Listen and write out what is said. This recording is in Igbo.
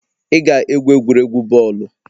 Ị ga-egwu egwuregwu bọọlụ.